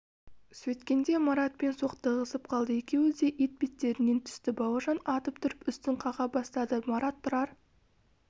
сөйткенде маратпен соқтығысып қалды екеуі де етбеттерінен түсті бауыржан атып тұрып үстін қаға бастады марат тұрар